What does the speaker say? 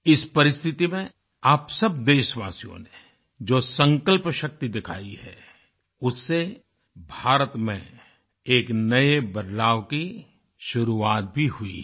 इस परिस्थिति में आप सब देशवासियों ने जो संकल्प शक्ति दिखाई है उससे भारत में एक नए बदलाव की शुरुआत भी हुई है